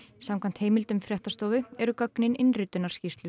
samkvæmt heimildum fréttastofu eru gögnin